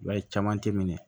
I b'a ye caman tɛ minɛ